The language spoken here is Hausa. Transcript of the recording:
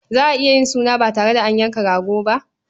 Za a iya yin suna ba tare da an yanka rago ba?